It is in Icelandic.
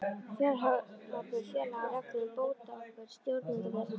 Fjárhagsábyrgð félaga og reglur um bótaábyrgð stjórnenda þeirra.